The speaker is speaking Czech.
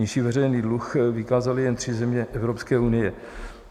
Nižší veřejný dluh vykázaly jen tři země Evropské unie.